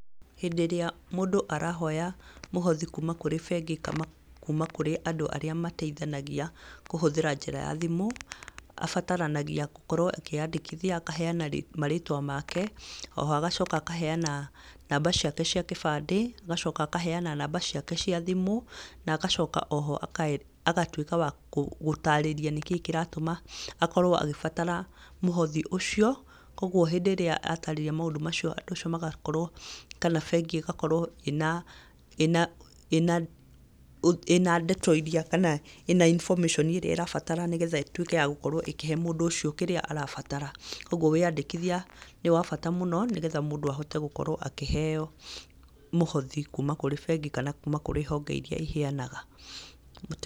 Hĩndĩ ĩrĩa mũndũ arahoya mũhothi kuuma kũrĩ bengi kana kuuma kũrĩ andũ marĩa mateithanagia kũhũthĩra njĩra ya thimũ, abataranagia gũkorwo akĩandĩkithia akaheana marĩtwa make oho agacoka akaheana namba ciake cia kĩbande ,agacoka akaheana namba ciake cia thimũ, na agacoka oho agatuĩka wa gũtarĩrĩa nĩkĩĩ kĩratũma akorwo agĩbatara mũhothi ũcio, kwoguo hĩndĩ ĩrĩa atarĩrĩa maũndũ macio magajorwo kana bengi ĩgakorwo ĩnandeto iria kana ĩna information ĩrĩa ĩrabatara nĩgetha ĩtuĩke ya gũkorwo ĩkĩhe mũndũ ũcio kĩrĩa arabatara ,kwoguo wĩandĩkithia nĩwabata mũno nĩgetha mũndũ akorwo akĩheo mũhothi kuuma kũrĩ bengi kana kuuma kũrĩ bengi iria iheanaga.